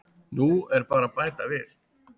Nú er bara að bæta við.